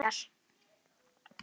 Hann emjar.